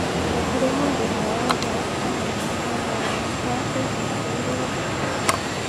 Gũtĩre mũndũ o wothe amenyeire wega wakwa ĩbida rĩu rĩothe